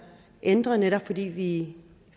ændret netop fordi vi